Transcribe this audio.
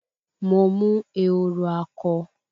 Mo mú ehoro akọ